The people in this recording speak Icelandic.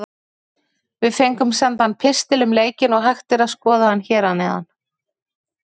Við fengum sendan pistil um leikinn og hægt er að skoða hann hér að neðan.